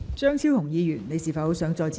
張超雄議員，你是否想再次發言？